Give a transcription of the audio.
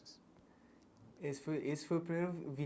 Esse foi esse foi o primeiro vi